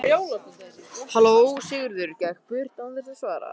Sigurður gekk burt án þess að svara.